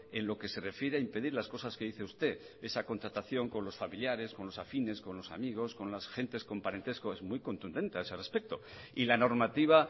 en lo que se refiere a impedir las cosas que dice usted esa contratación con los familiares con los afines con los amigos con las gentes con parentesco es muy contundente a ese respecto y la normativa